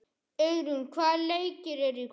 Auðrún, hvaða leikir eru í kvöld?